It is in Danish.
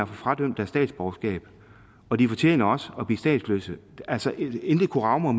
få fradømt deres statsborgerskab og de fortjener også at blive statsløse intet kunne rage mig